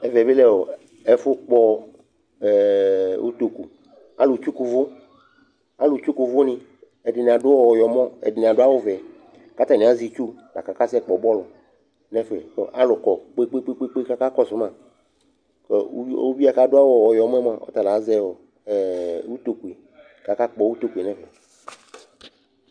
Ɛvɛ bɩ lɛ ɔ ɛfʋpɔ utoku Alʋtsuku ʋvʋ, alʋtsuku ʋvʋnɩ Ɛdɩnɩ adʋ ɔyɔmɔ, ɛdɩnɩ adʋ awʋvɛ kʋ atanɩ azɛ itsu la kʋ akasɛkpɔ bɔlʋ nʋ ɛfɛ kʋ alʋ kɔ kpe-kpe-kpe kʋ akakɔsʋ ma kʋ uvi uvi yɛ kʋ adʋ awʋ ɔyɔmɔ yɛ mʋa, ɔta la azɛ ɔ ɛ utoku yɛ kʋ akakpɔ utoku yɛ nʋ ɛfɛ